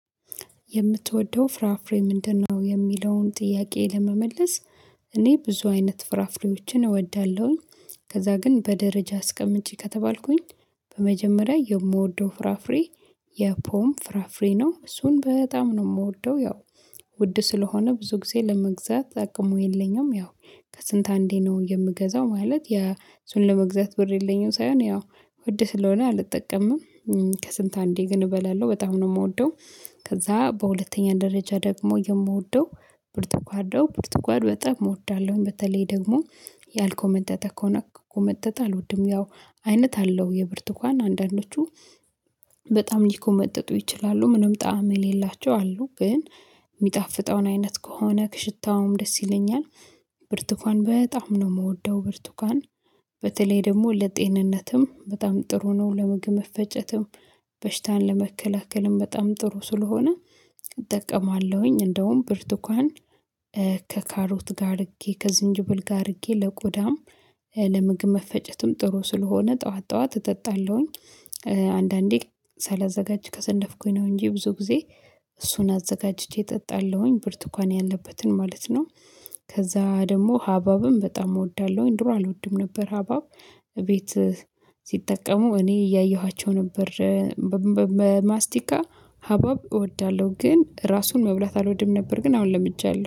የምትወደው ፍራፍሬ ምንድነው? የሚለውን ጥያቄ ለመመለስ እኔ ብዙ አይነት ፍራፍሬዎችን እወዳለሁኝ። ከዛ ግን በደረጃ አስቀምጪ ከተባልኩኝ። በመጀመሪያ የምወደው ፍራፍሬ የፖም ፍራፍሬ ነው እሱን በጣም ነው እምወደው። ያው ውድ ስለሆነ ብዙ ጊዜ ለመግዛት አቅሙ የለኝም። ያው ከስንት አንዴ ነው የምገዛው ማለት ያ እሱን ለመግዛት ብር የለኝም ሳይሆን ያው ውድ ስለሆነ አልጠቀምም። ከስንት አንዴ ግን እበላለሁ በጣም ነው እምወደው። ከዛ በሁለተኛ ደረጃ ደግሞ የምወደው። ብርቱካን ነው ብርቱካን በጣም እወዳለሁኝ በተለይ ደግሞ ያልኮመጠጠ ከሆነ ከኮመጠጠ አልወድም ያው አይነት አለው የብርቱካን አንዳንዶቹ በጣም ሊኮመጥጡ ይችላሉ ምንም ጣዕም የሌላቸው አሉ ግን እሚጣፍጠውን አይነት ከሆነ ሽታውም ደስ ይለኛል። ብርቱካን በጣም ነው እምወደው ብርቱካን በተለይ ደግሞ ለጤንነትም በጣም ጥሩ ነው ለምግብ መፈጨትም በሽታን ለመከላከልም በጣም ጥሩ ስለሆነ እጠቀማለሁኝ። እንደውም ብርቱካን ከካሮት ጋር አርጌ ከዝንጅብል ጋ አርጌ ለቆዳም ለምግብ መፈጨትም ጥሩ ስለሆነ ጥዋት ጥዋት እጠጣለሁኝ። አንዳንዴ ሳላዘጋጅ ከሰነፍኩኝ ነው እንጂ ብዙ ጊዜ እሱን አዘጋጅቼ እጠጣለሁኝ ብርቱኳን ያለበትን ማለት ነው። ከዛ ደግሞ ሀባብም በጣም እወዳለሁኝ ድሮ አልወድም ነበር ሀባብ ቤት ሲጠቀሙ እኔ እያየኋቸው ነበር። ማስቲካ ሀባብ እወዳለሁ ግን ራሱን መብላት አልወድም ነበር ግን አሁን ለምጃለሁ